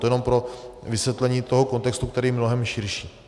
To jenom pro vysvětlení toho kontextu, který je mnohem širší.